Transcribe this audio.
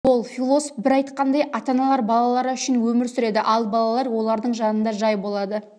бол философ бір айтқандай ата-аналар балалары үшін өмір сүреді ал балалар олардың жанында жай болады